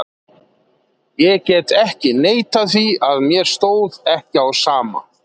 Ég get ekki neitað því að mér stóð ekki á sama.